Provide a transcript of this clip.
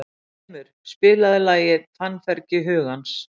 Þrymur, spilaðu lagið „Fannfergi hugans“.